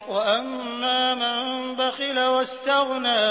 وَأَمَّا مَن بَخِلَ وَاسْتَغْنَىٰ